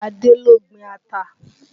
Adé ló gbin ata